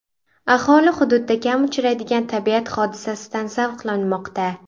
Aholi hududda kam uchraydigan tabiat hodisasidan zavqlanmoqda.